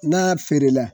N'a feere la